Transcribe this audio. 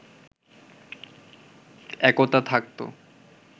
একতা থাকতো